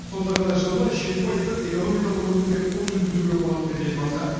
сонда ғана жылына жеті пайыздық экономикалық өсімге қол жеткізуге болады деді елбасы